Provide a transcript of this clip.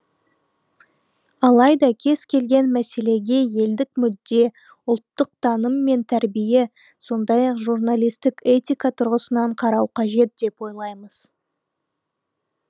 алайда кез келген мәселеге елдік мүдде ұлттық таным мен тәрбие сондай ақ журналистік этика тұрғысынан қарау қажет деп ойлаймыз